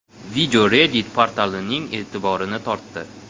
Video Reddit portalining e’tiborini tortdi .